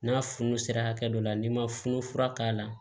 N'a funun sera hakɛ dɔ la n'i ma funu fura k'a la